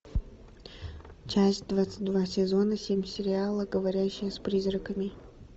часть двадцать два сезона семь сериала говорящие с призраками